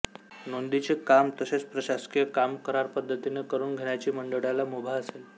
नोंदींचे काम तसेच प्रशासकीय काम करारपद्धतीने करून घेण्याची मंडळाला मुभा असेल